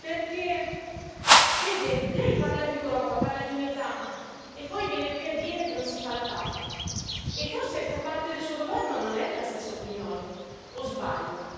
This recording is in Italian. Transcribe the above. Perché, vede, lei parla di Europa, parla di unità, e poi viene qui a dire che non si fa la TAV. Forse anche parte del suo governo non è della stessa opinione, o sbaglio?